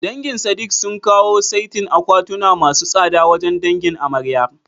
Dangin Sadik sun kawo saitin akwatuna masu tsada wajen dangin amaryar.